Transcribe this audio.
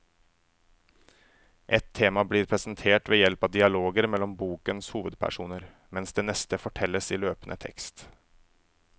Ett tema blir presentert ved hjelp av dialoger mellom bokens hovedpersoner, mens det neste fortelles i løpende tekst.